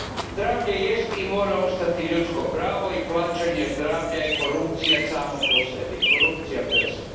Zdravlje jest i mora ostati ljudsko pravo i plaćanje zdravlja je korupcija samo po sebi, korupcija per se.